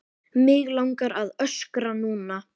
Mig langar að öskra núna.